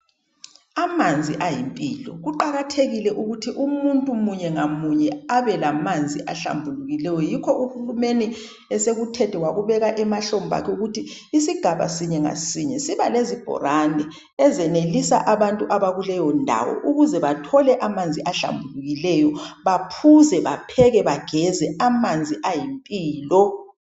Amanzi ayimpilo. Kuqakathekile ukuthi umuntu munye ngamunye abelamanzi ahlambulukileyo yikho uhulumeni esekuthethe wakubeka emahlombakhe ukuthi isigaba sinye ngasinye siba lezibhorane ezenelisa abantu abakuleyindawo ukuze bathole amanzi ahlambulukileyo, baphuze, bapheke bageze. Amanzi ayimpilo.